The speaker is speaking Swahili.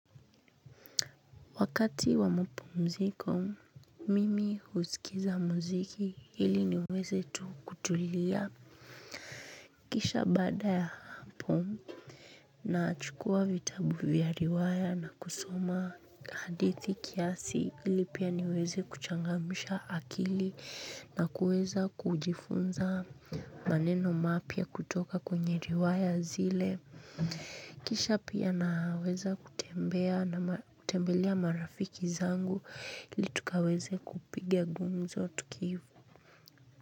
Wakati wa mapumziko. Mimi husikiza muziki ili niweze tu kutulia. Kisha bada ya hapo. Nachukua vitabu vya riwaya na kusoma. Hadithi kiasi hili pia niweze kuchangamsha akili nakuweza kujifunza maneno mapya kutoka kwenye riwaya zile. Kisha pia naweza kutembea na kutembelea marafiki zangu ili tukaweze kupitia gumzo tulivu.